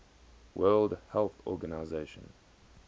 world health organization